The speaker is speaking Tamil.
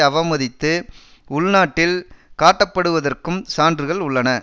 அவமதித்து உள்நாட்டில் காட்டப்படுவதற்கும் சான்றுகள் உள்ளன